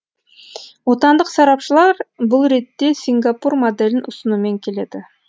отандық сарапшылар бұл ретте сингапур моделін ұсынумен келеді